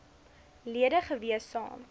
lede gewees saam